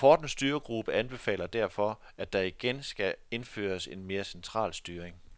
Rapportens styregruppe anbefaler derfor, at der igen skal indføres en mere central styring.